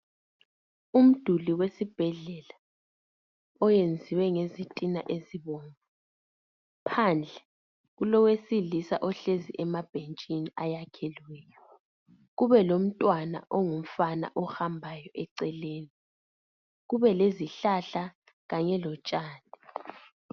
Umduli wesibhedlela oyenziwe ngezitina ezibomvu phandle kulowesilisa ohlezi emabhetshini ayakhelweyo kube lomntwana ongumfana ohambayo eceleni kube lezihlahla kanye lotshani.